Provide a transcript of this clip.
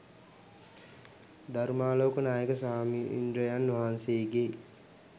ධර්මාලෝක නායක ස්වාමීන්ද්‍රයන් වහන්සේගේ